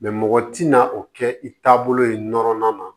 mɔgɔ tɛna o kɛ i taabolo ye nɔrɔnan na